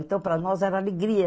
Então, para nós era alegria.